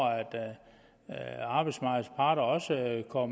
arbejdsmarkedets parter også kommer